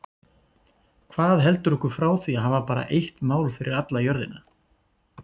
Hvað heldur okkur frá því að hafa bara eitt mál fyrir alla jörðina?